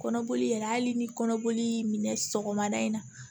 Kɔnɔboli yɛrɛ hali ni kɔnɔboli sɔgɔmada in na